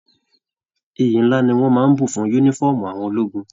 Ìyí nlá ní wọn n bù fún yúnífọ̀ọ́mù àwọn ológun.